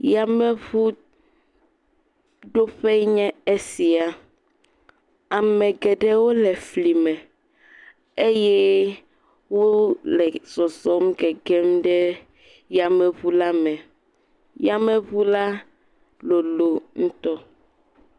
Yameʋu doƒe enye sia. Ame geɖewo le fli me eye wò le zɔzɔm gegem ɖe yameʋu la me. Yameʋu la lolo ŋutɔ.